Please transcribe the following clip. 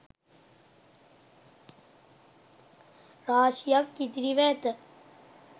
රාශියක් ඉතිරිව ඇත